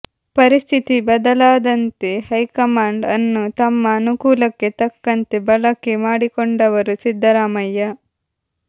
ಪರಿಸ್ಥಿತಿ ಬದಲಾದಂತೆ ಹೈಕಮಾಂಡ್ ಅನ್ನು ತಮ್ಮ ಅನುಕೂಲಕ್ಕೆ ತಕ್ಕಂತೆ ಬಳಕೆ ಮಾಡಿಕೊಂಡವರು ಸಿದ್ದರಾಮಯ್ಯ